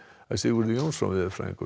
Sigurður Jónsson veðurfræðingur